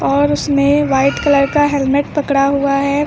और उसमें white colour का हेलमेट पकड़ा हुआ है।